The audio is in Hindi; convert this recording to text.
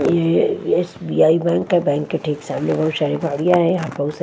ये एस_बी_आई बैंक का बैंक के ठीक सामने बहोत सारी गाड़ियां है यहां बहोत सा--